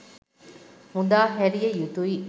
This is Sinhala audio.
මුදා හැරිය යුතුයි